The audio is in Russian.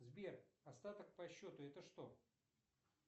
сбер остаток по счету это что